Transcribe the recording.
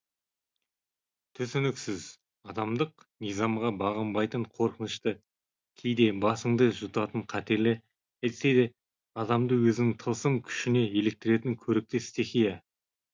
түсініксіз адамдық низамға бағынбайтын қорқынышты кейде басыңды жұтатын қатерлі әйтсе де адамды өзінің тылсым күшіне еліктіретін көрікті стихия